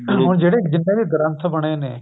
ਹੁਣ ਜਿਹੜੇ ਜਿੰਨੇ ਵੀ ਗ੍ਰੰਥ ਬਣੇ ਨੇ